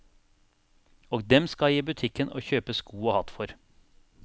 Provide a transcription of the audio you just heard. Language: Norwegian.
Og dem skal jeg i butikken og kjøpe sko og hatt for.